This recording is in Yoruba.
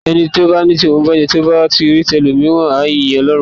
Ẹni bá ní tòun bàjé, tó bá rí tí ẹlòmíràn á yín Ọlọ́run lógo.